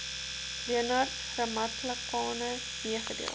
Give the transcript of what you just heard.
leonard ramatlakane meegedeel